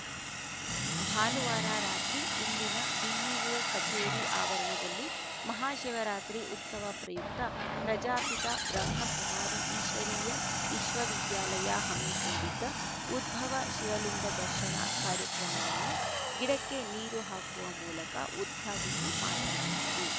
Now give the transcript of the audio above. ಭಾನುವಾರ ರಾತ್ರಿ ಇಲ್ಲಿನ ಬಿಇಒ ಕಚೇರಿ ಆವರಣದಲ್ಲಿ ಮಹಾಶಿವರಾತ್ರಿ ಉತ್ಸವ ಪ್ರಯುಕ್ತ ಪ್ರಜಾಪಿತ ಬ್ರಹ್ಮ ಕುಮಾರಿ ಈಶ್ವರೀಯ ವಿಶ್ವವಿದ್ಯಾಲಯ ಹಮ್ಮಿಕೊಂಡಿದ್ದ ಉದ್ಭವ ಶಿವಲಿಂಗ ದರ್ಶನ ಕಾರ್ಯಕ್ರಮವನ್ನು ಗಿಡಕ್ಕೆ ನೀರು ಹಾಕುವ ಮೂಲಕ ಉದ್ಘಾಟಿಸಿ ಮಾತನಾಡಿದರು